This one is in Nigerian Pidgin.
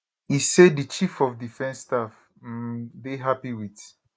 e say di chief of defence staff um dey happy wit